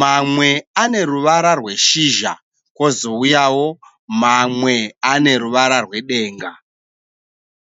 mamwe ane ruvara rweshizha kwozouyawo mamwe ane ruvara rwedenga.